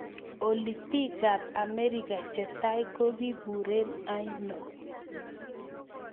Olly piikap Amerika che tai ko kiburen aino